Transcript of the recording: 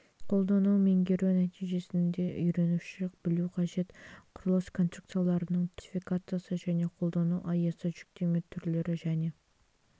пәнді меңгеру нәтижесінде үйренуші білуі қажет құрылыс конструкцияларының түрлері классификациясы және қолдану аясы жүктеме түрлері және